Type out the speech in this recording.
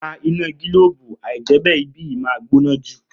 Pa iná gílóòbù, àìjẹ́bè ibí yìí máa gbóná jù